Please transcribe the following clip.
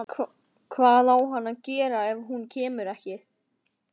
Hvað á hann að gera ef hún kemur ekki?